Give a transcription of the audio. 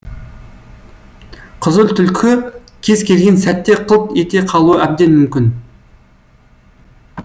қызыл түлкі кез келген сәтте қылт ете қалуы әбден мүмкін